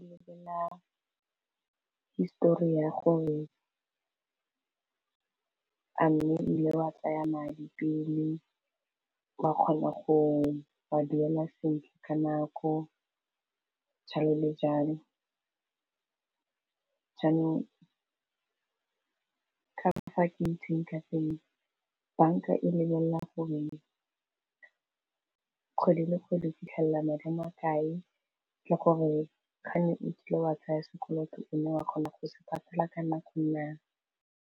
Lebelela histori ya gore a mme wile wa tsaya madi pele wa kgona go a duela sentle ka nako jalo le jalo jaanong ka ba fa ke itseng ka teng banka e lebelela gore kgwedi le kgwedi fitlhelela madi makae le gore gane o kile wa tsaya sekoloto mme wa kgona go se patela ka nako naa.